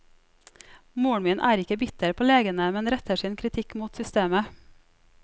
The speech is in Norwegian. Moren er ikke bitter på legene, men retter sin kritikk mot systemet.